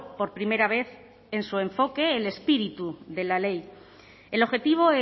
por primera vez en su enfoque el espíritu de la ley el objetivo